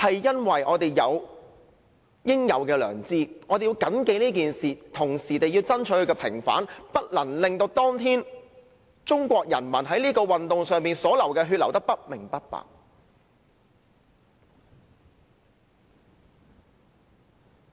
因為我們有應有的良知，我們要緊記這件事，同時要爭取平反，不能令當天中國人民在這運動上流的血流得不明不白。